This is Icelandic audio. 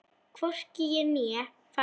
Hvorki ég né faðir hans.